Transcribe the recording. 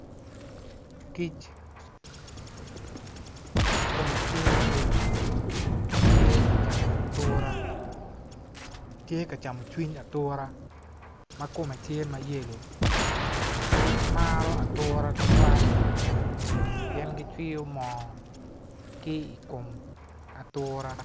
Kic kume tye mayelo tye ka camo atura tye kacamo cwiny atura ma kume tye mayelo kic maro atura tutwal pien gicwiyo moo ki i kom atura